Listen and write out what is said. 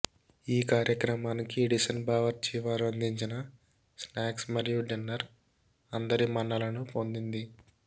ఈ కార్యక్రమానికి ఎడిసన్ బావార్చి వారు అందించిన స్నాక్స్ మరియు డిన్నర్ అందరి మన్నలను పొందింది